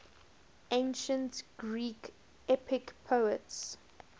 ancient greek epic poets